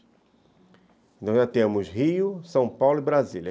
Então, já temos Rio, São Paulo e Brasília.